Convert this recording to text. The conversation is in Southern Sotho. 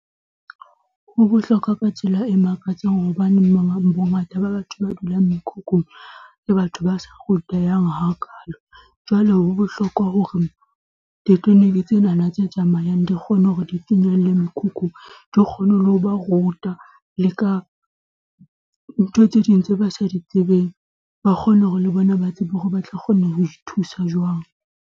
Ho bohlokwa ka tsela e makatsang hobane bongata ba batho ba dulang mekhukhung ke batho ba sa rutehang hakaalo, jwale ho bohlokwa hore di-clinic tsenana tse tsamayang di kgone hore di finyelle mekhukhung, di kgone ho ba ruta le ka ntho tse ding tse ba sa di tsebeng, ba kgone hore le bona ba tsebe hore ba tla kgona ho ithusa jwang.